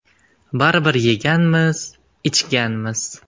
Baribir yeganmiz, ichganmiz.